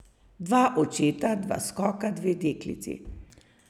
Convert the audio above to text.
Dva očeta, dva skoka, dve deklici.